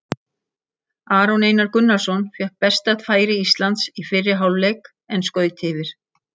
Aron Einar Gunnarsson fékk besta færi Íslands í fyrri hálfleik en skaut yfir.